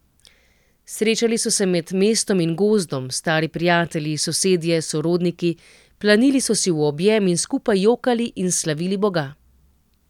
Srečali so se med mestom in gozdom, stari prijatelji, sosedje, sorodniki, planili so si v objem in skupaj jokali in slavili Boga.